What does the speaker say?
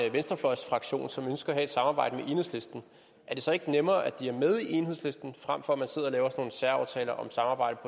en venstrefløjsfraktion som ønskede at have et samarbejde med enhedslisten er det så ikke nemmere at de er med i enhedslisten frem for at man sidder og laver særaftaler om samarbejde